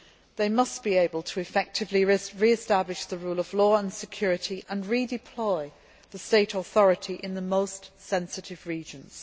They must be able to effectively re establish the rule of law and security and redeploy state authority in the most sensitive regions.